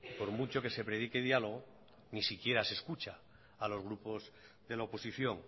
por mucho que se predique diálogo ni siquiera se escucha a los grupos de la oposición